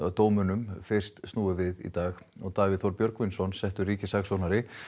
var dómunum fyrst snúið við í dag Davíð Þór Björgvinsson settur ríkissaksóknari